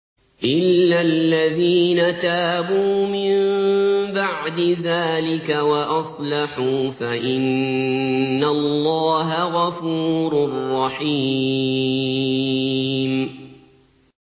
إِلَّا الَّذِينَ تَابُوا مِن بَعْدِ ذَٰلِكَ وَأَصْلَحُوا فَإِنَّ اللَّهَ غَفُورٌ رَّحِيمٌ